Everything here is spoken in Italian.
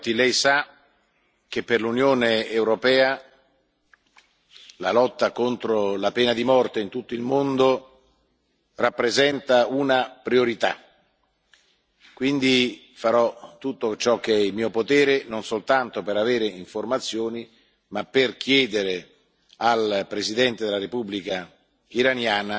Viotti, Lei sa che per l'Unione europea la lotta contro la pena di morte in tutto il mondo rappresenta una priorità, quindi farò tutto ciò che è in mio potere non soltanto per avere informazioni, ma anche per chiedere al presidente della Repubblica islamica dell'Iran